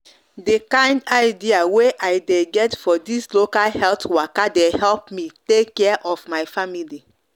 de kind idea wey i de get for this local health waka de help me take care of my family